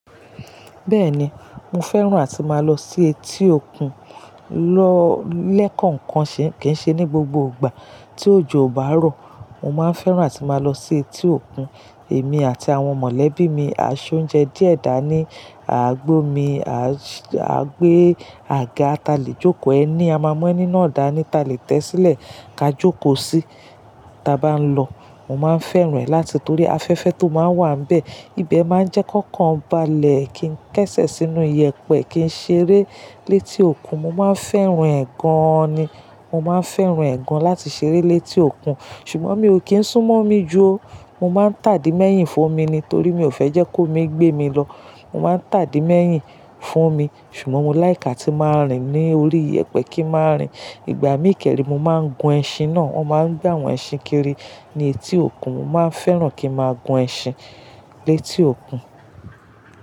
Bẹ́ẹ̀ni, mo fẹ́ràn àti máa lọ sí etí òkun. Lọ́l ẹ̀ kọ̀ọ̀kan ṣe kì í ṣe ní gbogbo ìgbà. Tí òjò bá rọ̀, mo máa fẹ́ràn àti máa lọ sí etí òkun. Èmi àti àwọn mọ̀lẹ́bí mi á ṣé oúnjẹ díẹ̀ dá ní, à á gbé omi, à á gbé àga ta lè jókò ẹni. A máa mú ẹni náà dá ní ta lè tẹ́ sílẹ̀ ka jókòó sí í tí a bá ń lọ. Mo máa fẹ́ràn ẹ̀ láti torí afẹ́fẹ́ tó máa ń wà n bẹ̀. Ibẹ̀ máa ń jẹ́ kọ kan balẹ̀ kí n kẹ́sẹ̀ sínú iyẹ̀pẹ̀ kí n ṣeré létí òkun. Mo máa fẹ́ràn ẹ̀ gan an ni. Mo máa fẹ́ràn ẹ̀ gan láti ṣeré létí òkun. Ṣùgbọ́n mi ò kí ń sún mọ́ mi ju o. Mo máa ń tàdì mẹ́yìn fún mi torí mi ò fẹ́ jẹ́ kó mi gbé mi lọ. Mo máa ń tàdì mẹ́yìn fún mi. Ṣùgbọ́n mo like á tí máa rìn ní orí iyẹ̀pẹ̀ kí n máa rìn. Ìgbà míì kẹ́rìí, mo máa ń gun ẹṣin náà. Wọ́n máa ń gbà àwọn ẹṣin kiri ní etí òkun. Mo máa fẹ́ràn kí n máa gun ẹṣin létí òkun.